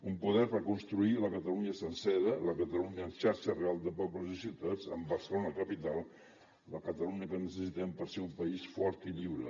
un poder per construir la catalunya sencera la catalunya en xarxa real de pobles i ciutats amb barcelona capital la catalunya que necessitem per ser un país fort i lliure